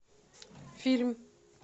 фильм